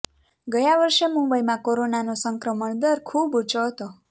ગયા વર્ષે મુંબઈમાં કોરોનાનો સંક્રમણ દર ખૂબ ઉંચો હતો